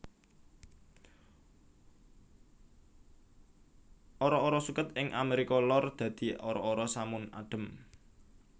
Ara ara suket ing Amérika Lor dadi ara ara samun adhem